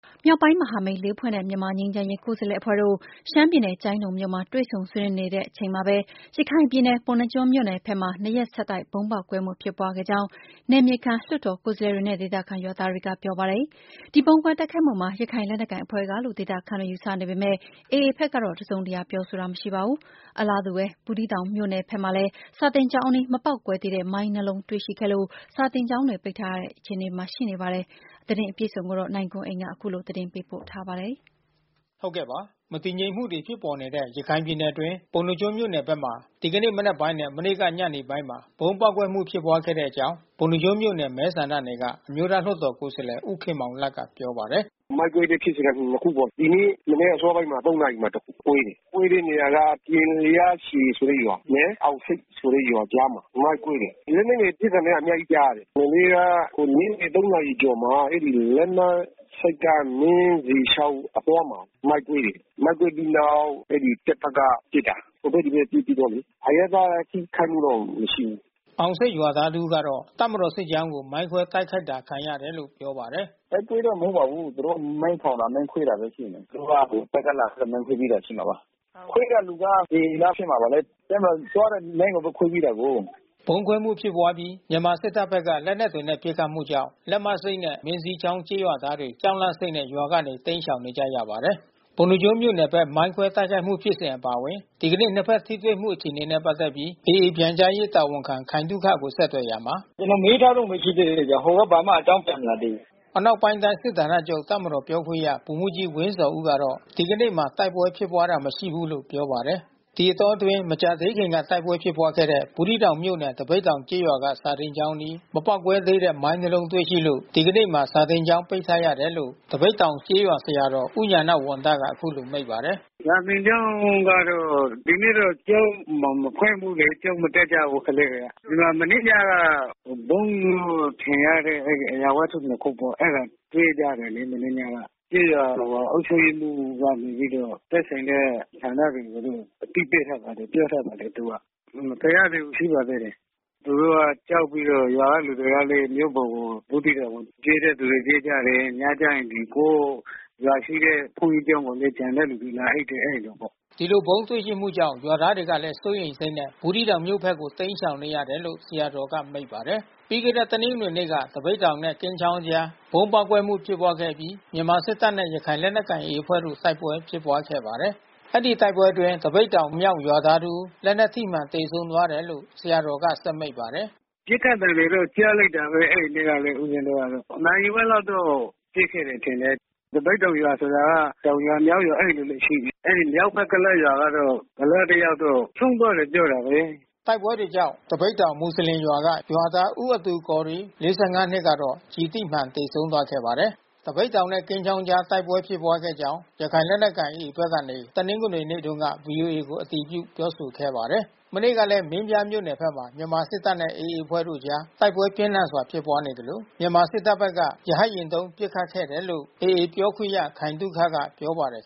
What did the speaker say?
မြောက်ပိုင်းမဟာမိတ် လေး ဖွဲ့နဲ့ မြန်မာငြိမ်းချမ်းရေး ကိုယ်စားလှယ်အဖွဲ့တို့ ရှမ်းပြည်နယ် ကျိုင်းတုန်မြို့မှာ တွေ့ဆုံဆွေး နွေးနေဆဲ တချိန်ထဲမှာပဲ ရခိုင်ပြည်နယ်၊ ပုဏ္ဏားကျွန်းမြို့နယ်ဘက်မှာ နှစ်ရက်ဆက်တိုက် ဗုံးပေါက်ကွဲမှု ဖြစ်ပွါးခဲ့ကြောင်း နယ် မြေခံ လွှတ်တော်ကိုယ်စားလှယ်တွေနဲ့ ဒေသခံရွာသားတွေကပြောပါတယ်။ ဒီဗုံးခွဲတိုက်ခိုက်မှုမှာ ရခိုင်လက်နက်ကိုင် အဖွဲ့ကလို့ ဒေသခံတွေက ယူဆနေပေမဲ့ AA ဘက်က တစုံတရာပြောဆိုတာမရှိပါဘူး။ အလားတူ ဘူးသီးတောင်မြို့နယ်ဘက်မှာလည်း စာသင်ကျောင်းအနီး မပေါက်ကွဲ သေးတဲ့ မိုင်းနှစ်လုံးတွေ့ရှိခဲ့လို့ စာသင်ကျောင်းပိတ်ထားရတဲ့ အခြေအနေရှိနေပါတယ်။ ဗွီအိုအေမြန်မာပိုင်း သတင်းထောက်နိုင်ကွန်းအိန်ကနေ သတင်းပေးပို့ထားပါတယ်။ မတည်ငြိမ်မှုတွေ ဖြစ်ပေါ်နေတဲ့ ရခိုင်ပြည်နယ်အတွင်းက ပုဏ္ဏားကျွန်းမြို့နယ်ဘက်မှာ ဒီကနေ့မနက်ပိုင်းနဲ့ မနေ့ညနေပိုင်းမှာ ဗုံးပေါက်ကွဲမှု ဖြစ်ပွားခဲ့တဲ့အကြောင်း ပုဏ္ဏားကျွန်းမြို့နယ်မဲ ဆန္ဒနယ်က အမျိုးသားလွှတ်တော်ကိုယ်စားလှယ် ဦးခင်မောင်လတ်က ပြောပါတယ်။ “မိုင်းကွဲတဲ့ဖြစ်စဉ်က နှစ်ခုပေါ့။ ဒီနေ့ မနက်အစောပိုင်း ၃ နာရီမှာ တခုကွဲတယ်။ ကွဲတဲ့နေရာက ပျဉ်လျားရှည်ဆိုတဲ့ ရွာနဲ့ အောင်ဆိပ်ဆိုတဲ့ရွာကြားမှာ။ မိုင်းကွဲတယ်။ လက်နက်ငယ်ပစ်သံတွေက အများကြီးကြားရတယ်။ မနေ့ကညနေ ၃ နာရီ ကျော်မှာ အဲဒီလက်မဆိပ်က မင်းဇီချောင်းအသွားမှာ မိုင်းကွဲတယ်။ မိုင်းကွဲပြီးနောက် အဲဒီတပ်ဘက်က ပစ်တာ။ ဟိုဘက် ဒီဘက် ပစ်ပြီးတော့လေ။ အရပ်သား ထိခိုက်မှုတော့ မရှိဘူး။” အောင်ဆိပ်ရွာသား တဦးကတော့ တပ်မတော် စစ်ကြောင်းကို မိုင်းခွဲတိုက်ခိုက်ခံရတာလို့ ပြောပါတယ်။ “တိုက်ပွဲတော့ မဟုတ်ပါဘူး။ သူတို့က မိုင်းထောင်တာ မိုင်းခွဲတာပဲ ရှိမယ်။ သူတို့က တပ်ကလာ မိုင်ခွဲပြေးတာ ဖြစ်မှာပါ။ ခွဲတဲ့လူက AA လား ဖြစ်မှာပါလေ။ တပ်မတော်သွားတဲ့ လမ်းကိုပဲ ခွဲပြေးတာကိုး။” ဗုံးခွဲမှုဖြစ်ပွားပြီး မြန်မာစစ်တပ်ဘက်က လက်နက်တွေနဲ့ ပစ်ခတ်မှုကြောင့် လက်မဆိတ်နဲ့ မင်းဇီချောင်း ကျေးရွာသားတွေ ကြောက်လန့်စိတ်နဲ့ ရွာကနေ တိမ်းရှောင်နေကြရပါတယ်။ ပုဏ္ဏားကျွန်းမြို့နယ်ဘက် မိုင်းခွဲတိုက်ခိုက်မှုဖြစ်စဥ ်အပါအဝင် ဒီကနေ့ နှစ်ဘက်ထိတွေ့မှုအခြေအနေနဲ့ ပတ်သက်ပြီး AA ပြန်ကြားရေးတာဝန်ခံခိုင်သုခကို ဆက်သွယ်ခဲ့ရာမှာ။ “ကျနော်မေးထားတုန်းပဲ ရှိသေးတယ်။ ဟိုက ဘာမှအကြောင်း ပြန်မလာသေးဘူး။” အနောက်ပိုင်းတိုင်း စစ်ဌာနချုပ်တပ်မတော်ပြောခွင့်ရ ဗိုလ်မှူးကြီးဝင်းဇော်ဦးကတော့ ဒီကနေ့မှာ တိုက်ပွဲဖြစ်ပွားတာ မရှိဘူးလို့ ပြောပါတယ်။ ဒီအတောအတွင်း မကြာသေးခင်က တိုက်ပွဲဖြစ်ပွားခဲ့တဲ့ ဘူးသီးတောင်မြို့နယ် သပိတ်တောင်ကျေးရွာက စာသင်ကျောင်းအနီး မပေါက်ကွဲသေးတဲ့ မိုင်း နှစ်လုံးတွေ့ရှိလို့ ဒီကနေ့မှာ စာသင်ကျောင်း ပိတ်ထားရတယ်လို့ သပိတ်တောင်ကျေးရွာ ဆရာတော် ဦးညာဏဝံသက အခုလိုမိန့်ပါတယ်။ “စာသင်ကျောင်းကတော့ ဒီနေ့တော့ ကျောင်းမဖွင့်ဘူးလေ။ ကျောင်းမတက်ကြဘူး ကလေးတွေက။ ဒီမှာမနေ့ညက ဗုံးလို့ ထင်ရတဲ့အရာဝတ္တု နှစ်ခုပေါ့။ အဲတာတွေ့ကြတယ်လေ မနေ့ညက။ ကျေးရွာ အုပ်ချုပ်ရေးမှူးကနေပြီးတော့ သက်ဆိုင်တဲ့ ဌာနတွေကို အသိပေးထားပါတယ်။ ပြောထားပါတယ်သူက။ မဖယ်ရသေးဘူး ရှိပါသေးတယ်။ သူတို့က ကြောက်ပြီးတော့ ရွာကလူတွေကလည်း မြို့ပေါ်ကို ဘူးသီးတောင်ကို ပြေးတဲ့သူလည်း ပြေးကြတယ်။ ညကျရင်ကိုယ့်ရွာရှိတဲ့ ဘုန်းကြီးကျောင်းကိုလည်း ကျန်တဲ့လူ လာအိပ်တယ် အဲဒီလိုပေါ့။” ဒီလို ဗုံးတွေ့ရှိမှုကြောင့် ရွာသားတွေကလည်း စိုးရိမ်စိတ်နဲ့ ဘူးသီးတောင်မြို့ဘက်ကို တိမ်းရှောင်နေတယ်လို့ ဆရာတော်က မိန့်ပါတယ်။ ပြီးခဲ့တဲ့ တနင်္ဂနွေနေ့က သပိတ်တောင်နဲ့ ကင်းချောင်းကြား ဗုံးပေါက်ကွဲမှု ဖြစ်ပွားခဲ့အပြီး မြန်မာစစ်တပ်နဲ့ ရခိုင်လက်နက်ကိုင် AA အဖွဲ့တို့ တိုက်ပွဲဖြစ်ပွားခဲ့ပါတယ်။ အဲဒီ တိုက်ပွဲတွေအတွင်း သပိတ်တောင်မြောက် ရွာသား တဦး လက်နက်ထိမှန် သေဆုံးသွားတယ်လို့ ဆရာတော်က ဆက်မိန့်ပါတယ်။ “ပစ်ခတ်သံတွေတော့ ကြားလိုက်တာပဲ အဲဒီနေ့တုန်းက ဦးဇင်းတို့။ နာရီဝက်လောက်တော့ ပစ်ခဲ့တယ် ထင်တယ်။ သပိတ်တောင်ရွာက တောင်ရွာမြောက်ရွာအဲဒီလိုရှိနေတယ်။ အဲဒီမြောက်ဘက် ကုလားရွာကတော့ ကုလားတယောက်တော့ ဆုံးသွားတယ် ပြောတာပဲ။ တိုက်ပွဲတွေကြောင့် သပိတ်တောင် (မွတ်ဆလင်) ရွာက ရွာသား ဦးအဒူကော်ရီးမ် ၄၅ နှစ်ကတော့ ကျည်ထိမှန် သေဆုံးသွားခဲ့ပါတယ်။ သပိတ်တောင်နဲ့ ကင်းချောင်းကြား တိုက်ပွဲဖြစ်ပွားခဲ့ကြောင်း ရခိုင်လက်နက်ကိုင် AA ဘက်ကနေ တနင်္ဂနွေနေ့တုန်းက ဗွီအိုအေကို အတည်ပြု ပြောဆိုခဲ့ပါတယ်။ မနေ့ကလည်း မင်းပြားမြို့နယ်ဘက်မှာ မြန်မာစစ်တပ်နဲ့ AA အဖွဲ့တို့အကြား တိုက်ပွဲပြင်းထန်စွာ ဖြစ်ပွားခဲ့သလို မြန်မာ စစ်တပ်ဘက်က ရဟတ်ယာဉ် သုံးပစ်ခတ်ခဲ့တယ်လို့ AA ပြောခွင့်ရ ခိုင်သုခက ပြောပါတယ်